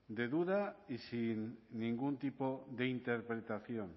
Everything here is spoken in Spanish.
de duda y sin ningún tipo de interpretación